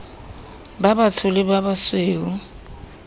ba batsho le ba basweu